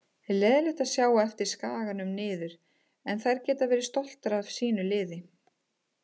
Leiðinlegt að sjá á eftir Skaganum niður en þær geta verið stoltar af sínu liði.